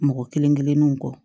Mɔgɔ kelen kelennuw kɔ